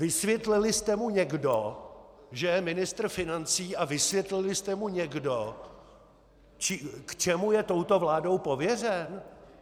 Vysvětlili jste mu někdo, že je ministr financí, a vysvětlili jste mu někdo, k čemu je touto vládou pověřen?